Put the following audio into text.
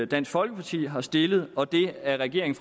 dansk folkeparti har stillet og det af regeringen